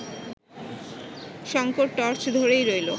Shankar torch ধরেই রইল